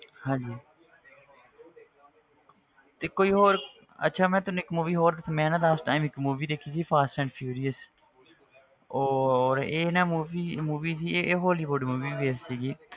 ਹਾਂਜੀ ਤੇ ਕੋਈ ਹੋਰ ਅੱਛਾ ਮੈਂ ਤੈਨੂੰ ਇੱਕ movie ਹੋਰ ਮੈਂ ਨਾ last time ਇੱਕ movie ਦੇਖੀ ਸੀ fast and furious ਉਹ ਇਹ ਨਾ movie movie ਸੀ ਇਹ hollywood movie ਵੈਸੇ ਸੀਗੀ